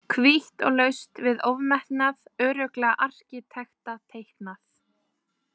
Hvítt og laust við ofmetnað, örugglega arkitektateiknað.